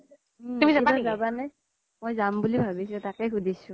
উম এতিয়া জাবা নে ? মই যাম বুলি ভাবিছোঁ তাকেই সোধিছো